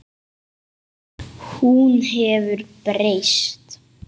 Hún hefur breyst.